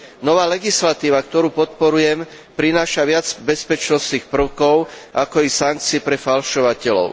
Nová legislatíva, ktorú podporujem, prináša viac bezpečnostných prvkov, ako i sankcií pre falšovateľov.